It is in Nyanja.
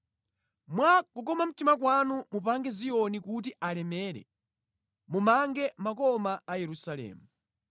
Mwa kukoma mtima kwanu mupange Ziyoni kuti alemere; mumange makoma a Yerusalemu.